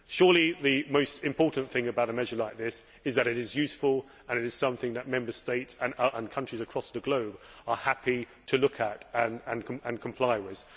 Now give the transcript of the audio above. Surely the most important thing about a measure like this is that it is useful and that it is something that Member States and countries across the globe are happy to look at and comply with.